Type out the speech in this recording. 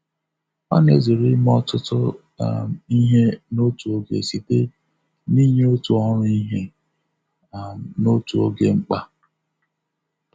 Ọ na-ezere ime ọtụtụ um ihe n'otu oge site n'inye otu ọrụ ihe um n'otu oge mkpa. um